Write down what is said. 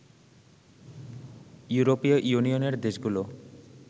ইউরোপীয় ইউনিয়নের দেশগুলো